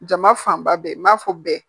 Jama fanba bɛɛ n b'a fɔ bɛɛ